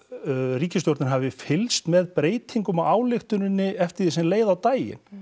ríkisstjórnin hafi fylgst með breytingum á ályktuninni eftir því sem leið á daginn